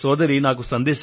సోదరి శివానీ